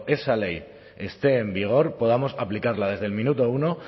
esa ley esté en vigor podamos aplicarla desde el minuto uno